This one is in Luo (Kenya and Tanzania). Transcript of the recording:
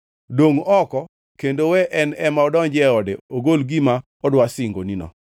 Dongʼ oko kendo we en ema odonjie ode ogol gima odwa singonino.